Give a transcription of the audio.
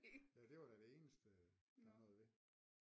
Ja det var da det eneste der var noget ved